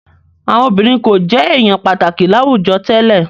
Àwọn obìnrin kò jẹ èèyàn pàtàkì láwùjọ tẹ́lẹ̀